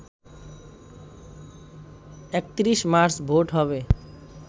৩১ March vote হবে